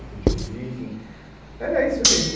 A gente ouvia, enfim... Era esse o ambiente.